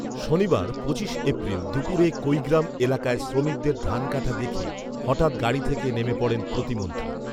শনিবার পঁচিশ এপ্রিল দুপুরে কৈগ্রাম এলাকায় শ্রমিকদের ধান কাটা দেখে হঠাৎ গাড়ি থেকে নেমে পড়েন প্রতিমন্ত্রী